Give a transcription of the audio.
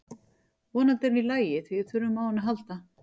Vonandi er hún í lagi því við þurfum á henni að halda.